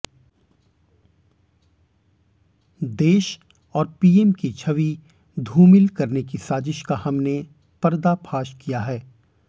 देश और पीएम की छवि धूमिल की साजिश का हमने पर्दाफाश किया है